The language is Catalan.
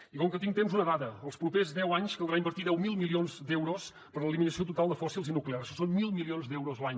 i com que tinc temps una dada els propers deu anys caldrà invertir deu mil milions d’euros per a l’eliminació total de fòssils i nuclears això són mil milions d’euros l’any